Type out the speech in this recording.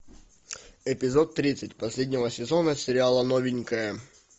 эпизод тридцать последнего сезона сериала новенькая